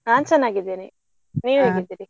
ನಾನ್ ಚನ್ನಾಗಿದ್ದೇನೆ ನೀವ್ ಹೇಗಿದ್ದೀರಿ?